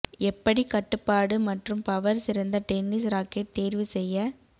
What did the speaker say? எப்படி கட்டுப்பாடு மற்றும் பவர் சிறந்த டென்னிஸ் ராக்கெட் தேர்வு செய்ய